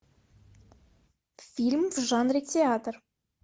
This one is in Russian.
фильм в жанре театр